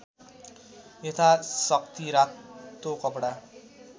यथाशक्ति रातो कपडा